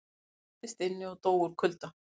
Læstist inni og dó úr kulda